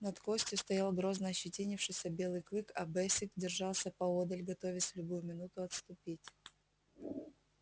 над костью стоял грозно ощетинившийся белый клык а бэсик держался поодаль готовясь в любую минуту отступить